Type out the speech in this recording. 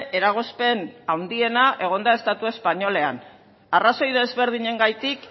eragozpen handiena egon da estatu espainolean arrazoi desberdinengatik